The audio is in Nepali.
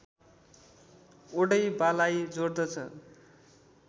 ओडैबालाई जोडद्छ